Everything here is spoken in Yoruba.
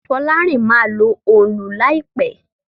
Folarin má lọ Òòlù láìpé